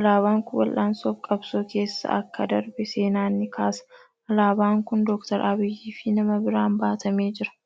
Alaabaan kun wal'aansoo fi qabsoo keessa akka darbe seenaan ni kaasa. Alaabaan kun Dookter Abiyyi fi nama biraan baatamee jira.